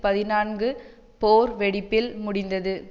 பதினான்கு போர் வெடிப்பில் முடிந்தது